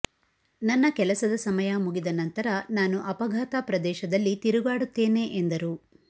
ನನ್ನ ಕೆಲಸದ ಸಮಯ ಮುಗಿದ ನಂತರ ನಾನು ಅಪಘಾತ ಪ್ರದೇಶದಲ್ಲಿ ತಿರುಗಾಡುತ್ತೇನೆ ಎಂದರು